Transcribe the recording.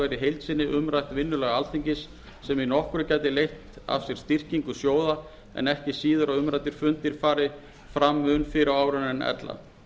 sinni umrætt vinnulag alþingis sem í nokkru gæti leitt af sér styrkingu sjóða en ekki síður að umræddir fundir fari fram mun fyrr á árinu en ella